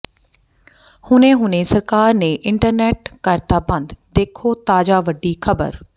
ਹੁਣੇ ਹੁਣੇ ਸਰਕਾਰ ਨੇ ਇੰਟਰਨੈੱਟ ਕਰਤਾ ਬੰਦ ਦੇਖੋ ਤਾਜਾ ਵੱਡੀ ਖਬਰ